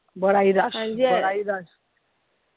ਬੜਾ ਈ ਰੱਛ ਹਾਂਜੀ, ਬੜਾ ਈ ਰੱਛ।